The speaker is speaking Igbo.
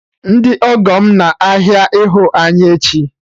Ndị ọgọ m na ahịa ịhụ anyị echi